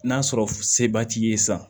N'a sɔrɔ seba t'i ye sa